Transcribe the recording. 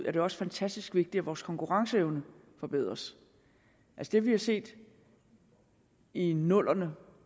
er det også fantastisk vigtigt at vores konkurrenceevne forbedres det vi har set i nullerne